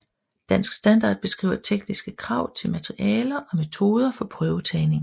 Dansk Standard beskriver tekniske krav til materialer og metoder for prøvetagning